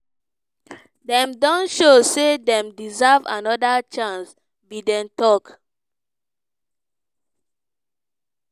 dem don "show say dem deserve second chance" biden tok.